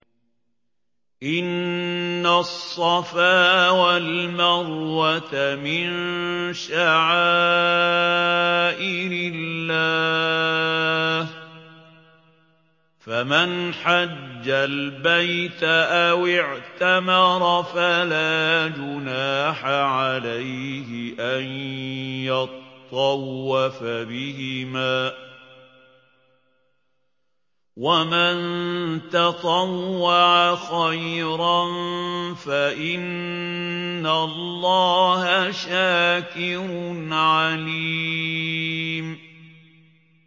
۞ إِنَّ الصَّفَا وَالْمَرْوَةَ مِن شَعَائِرِ اللَّهِ ۖ فَمَنْ حَجَّ الْبَيْتَ أَوِ اعْتَمَرَ فَلَا جُنَاحَ عَلَيْهِ أَن يَطَّوَّفَ بِهِمَا ۚ وَمَن تَطَوَّعَ خَيْرًا فَإِنَّ اللَّهَ شَاكِرٌ عَلِيمٌ